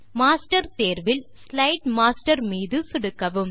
master தேர்வில் slide master மீது சொடுக்கவும்